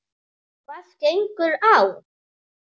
Hvað gengur á?